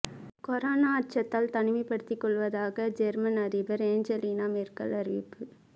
corona அச்சத்தால் தனிமைப்படுத்திக் கொள்வதாக ஜெர்மன் அதிபர் ஏஞ்சலினா மெர்கல் அறிவிப்பு